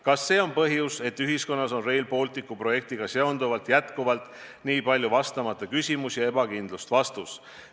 Kas see on põhjus, et ühiskonnas on Rail Balticu projektiga seonduvalt jätkuvalt nii palju vastamata küsimusi ja ebakindlust?